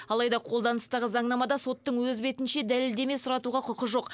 алайда қолданыстағы заңнамада соттың өз бетінше дәлелдеме сұратуға құқы жоқ